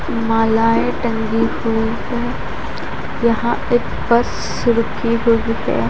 मालाएं टंगी हुई हैं यहां एक बस रुकी हुई है।